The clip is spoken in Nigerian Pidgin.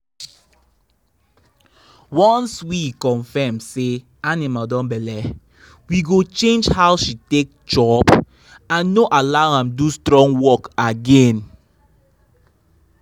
once we confirm say animal don belle we go change how she take chop and no allow am do strong work again.